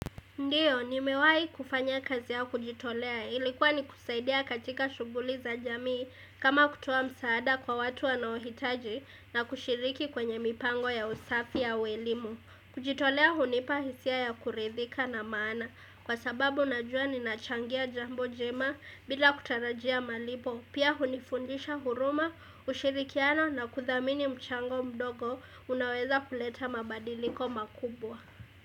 Ndiyo, ni mewai kufanya kazi ya kujitolea. Ilikuwa ni kusaidia katika shughuli za jamii kama kutowa msaada kwa watu wanaohitaji na kushiriki kwenye mipango ya usafi ua elimu. Kujitolea hunipa hisia ya kuridhika na maana kwa sababu najua nina changia jambo jema bila kutarajia malipo. Pia hunifundisha huruma, ushirikiano na kuthamini mchango mdogo unaweza kuleta mabadiliko makubwa.